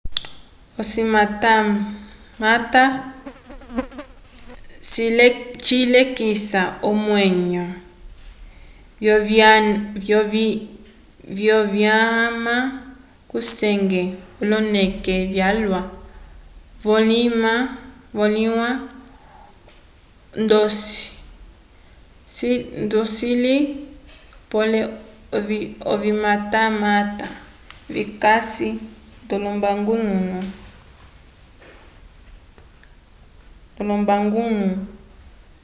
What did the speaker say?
ocimatamata cilekisa omwenyo vyovinyama kusenge oloneke vyalwa vimõliwa ndocili pole ovimatamata vikasi ndolombangulo